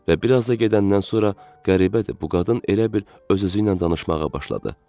Və bir az da gedəndən sonra qəribədir, bu qadın elə bil öz-özünlə danışmağa başladı.